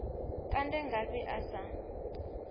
a kande ngafhi a sa